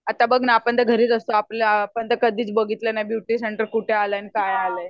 आता बघ ना आपण तर घरिच असतो आपण तर कधीच बघितल नाही ब्युटी सेंटर कुठे आले आणि काय आले